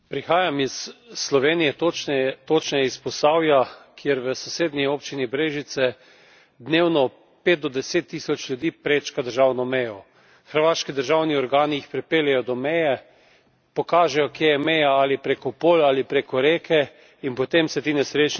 Prihajam iz Slovenije, točneje iz Posavja, kjer v sosednji občini Brežice dnevno pet do deset tisoč ljudi prečka državno mejo. Hrvaški državni organi jih pripeljejo do meje, pokažejo, kje je meja, ali preko polj ali preko reke, in potem se ti nesrečniki podajo na našo slovensko stran.